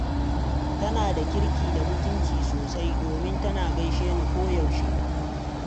Tana da kirki da mutunci sosai, domin tana gaishe ni koyaushe.